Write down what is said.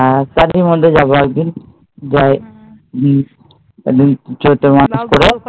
হ্যাঁ, তালে এরমধ্যে যাবো একদিন। একদিন চৈত্র মাসের পরে